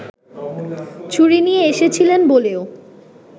ছুরি নিয়ে এসেছিলেন বলেও